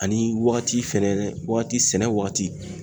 Ani wagati fɛnɛ, wagati sɛnɛ wagati.